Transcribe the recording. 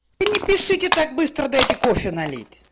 и не пишите так быстро дайте кофе налить